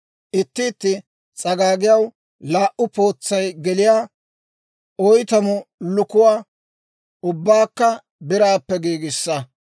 Itti itti s'agaagiyaw laa"u pootsay geliyaa oytamu lukuwaa, ubbaakka biraappe giigissa.